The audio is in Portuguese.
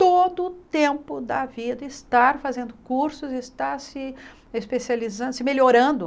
todo o tempo da vida, estar fazendo cursos, estar se especializando, se melhorando.